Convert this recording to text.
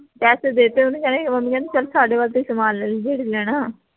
ਪੈਸੇ ਦੇਤੇ ਓਹਨੀ ਹੈਨਾ ਮੰਮੀ ਕਹਿੰਦੀ ਚਲ ਸਾਡੇ ਵੱਲ ਤੇ ਸਮਾਨ ਲੈ ਲਈ ਜਿਹੜਾ ਲੈਣਾ